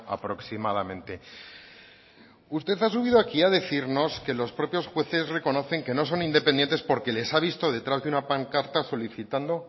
aproximadamente usted ha subido aquí a decirnos que los propios jueces reconocen que no son independientes porque les ha visto detrás de una pancarta solicitando